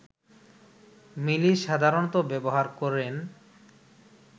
মিলি সাধারণত ব্যবহার করেন